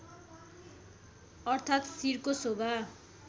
अर्थात् शिरको शोभा